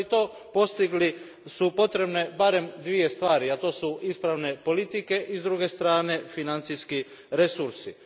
No, da bi to postigli potrebne su barem dvije stvari, a to su ispravne politike i s druge strane financijski resursi.